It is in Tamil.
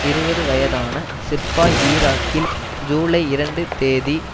இருபது வயதான சிப்பாய் ஈராக்கில் ஜூலை இரண்டு தேதி